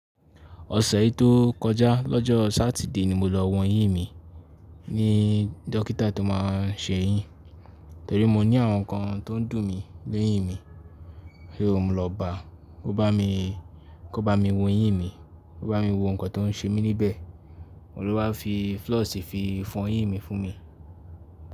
Ọ̀sẹ̀ yi tó kọjá lọ́jọ́ Sátidé ni mo lọ wọn yín mí ní dókítà tó máa ń ṣe yín, torí mo ní àwọn nǹkan tó ń dùn mí leyìn mí. So mọ lọ báa, ó bá mi, kò bá mi wo eyìn mi, kó bá mi wo nǹkan tó ń ṣe mí níbẹ̀. Òun ló wá fi floss fi fọn eyìn mi fún mi.